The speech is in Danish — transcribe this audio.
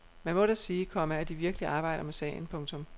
Man må da sige, komma at de virkelig arbejder med sagen. punktum